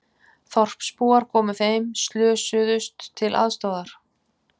Þorpsbúar komu þeim slösuðust til aðstoðar